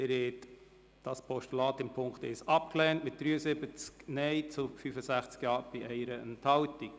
Sie haben dieses Postulat in Punkt 1 abgelehnt mit 73 Nein- zu 65 Ja-Stimmen bei 1 Enthaltung.